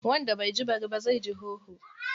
Wanda bai ji bari ba zai ji hoho.